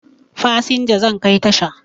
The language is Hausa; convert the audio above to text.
Fasinja zan kai tasha